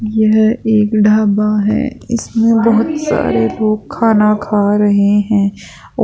यह एक ढाबा है इसमें बहुत सारे लोग खाना खा रहे हैं औ--